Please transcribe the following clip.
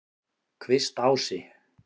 Kvistási